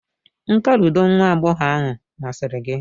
nka ludo nwa agbọghọ ahụ masịrị gị?